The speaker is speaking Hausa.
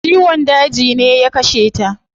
Ciwon daji ne ya kashe ta